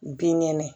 Bin kɛnɛ